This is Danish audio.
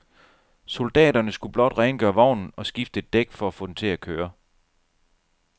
Soldaterne skulle blot rengøre vognen og skifte et dæk for at få den til at køre.